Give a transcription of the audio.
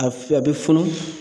A f a be funu